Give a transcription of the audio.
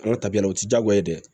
Ala tabiyala o ti diyagoya ye dɛ